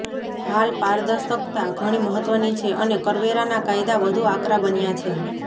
હાલ પારદર્શકતા ઘણી મહત્ત્વની છે અને કરવેરાના કાયદા વધુ આકરા બન્યા છે